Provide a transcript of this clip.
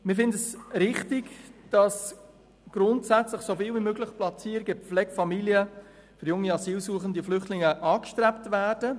Wir finden es richtig, dass grundsätzlich so viele Platzierungen von jungen Asylsuchenden und Flüchtlingen in Pflegefamilien angestrebt werden.